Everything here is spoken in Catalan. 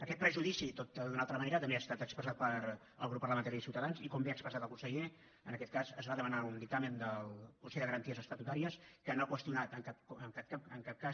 aquest prejudici tot i que d’una altra manera també ha estat expressat pel grup parlamentari de ciutadans i com bé ha expressat el conseller en aquest cas es va demanar un dictamen del consell de garanties estatutàries que no ha qüestionat en cap cas